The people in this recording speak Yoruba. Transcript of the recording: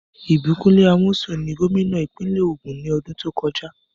Ìbíkúnlé Amósùn ni gómìnà ìpínlẹ̀ Ògùn ní ọdún tó kọjá.